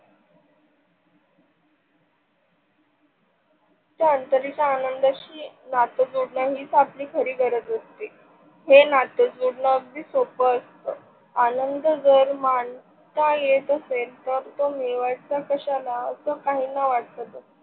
त्या आंतरिक आनंदशी नात जोडण हीच खरी गरज असते. ही नात जोडण अगदी सोप असत. आनंद जर माणसाचा येत असेल तर तो मिळवायचा कशाला अस काहींना वाटत.